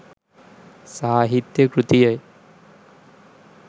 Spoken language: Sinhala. සාහිත්‍ය කෘතිය